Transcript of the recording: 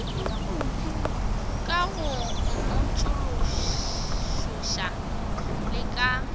ka go mmotšološoša le ka